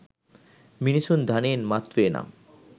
මිනිසුන් ධනයෙන් මත්වේ නම්